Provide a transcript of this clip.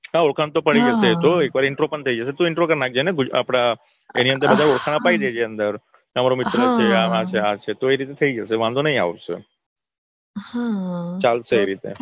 હા ઓળખ તો પડી જ જશે તો એકવાર intro પણ થઇ જશે તું intro કરી નાખજે ને આપડા એની અંદર ઓરખાણ અપાઈ દેજે ને એની અંદર તમારા મિત્રો કેવા છે આવા છે આ છે તો એ રીતે થઇ જશે વાંધો નઈ આવશે હા